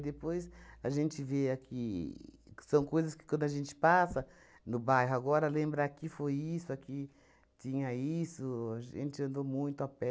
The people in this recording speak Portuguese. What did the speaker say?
depois a gente vê aqui... São coisas que, quando a gente passa no bairro agora, lembra aqui foi isso, aqui tinha isso, a gente andou muito a pé.